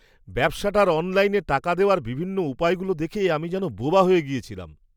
ব্যবসাটার অনলাইনে টাকা দেওয়ার বিভিন্ন উপায়গুলো দেখে আমি যেন বোবা হয়ে গেছিলাম।